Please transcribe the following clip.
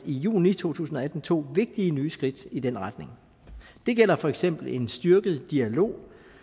i juni to tusind og atten tog vigtige nye skridt i den retning det gælder for eksempel en styrket dialog